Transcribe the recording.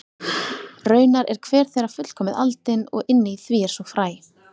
Raunar er hver þeirra fullkomið aldin og inni í því er svo fræ.